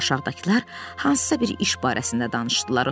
Sonra aşağıdakılar hansısa bir iş barəsində danışdılar.